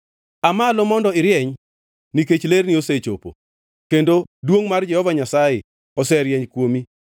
Aa malo mondo irieny nikech lerni osechopo, kendo duongʼ mar Jehova Nyasaye oserieny kuomi.